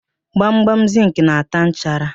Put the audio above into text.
Gbamgbam zịnkị na-ata nchara.